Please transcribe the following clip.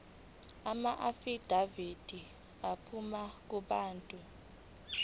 amaafidavithi aphuma kubantu